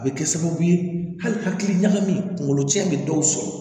A bɛ kɛ sababu ye hali hakili ɲagami kunkolo cɛn bɛ dɔw sɔrɔ